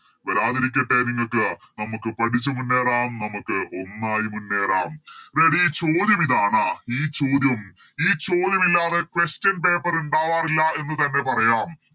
വരാതിരിക്കട്ടെ നിങ്ങക്ക് നമുക്ക് പഠിച്ച് മുന്നേറാം നമുക്ക് ഒന്നായി മുന്നേറാം Ready ഈ ചോദ്യം ഇതാണ് ഈ ചോദ്യം ഈ ചോദ്യം ഇല്ലാതെ Question paper ഇണ്ടാവാറില്ല എന്നുതന്നെ പറയാം